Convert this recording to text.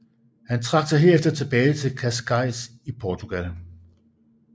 Han trak sig herefter tilbage til Cascais i Portugal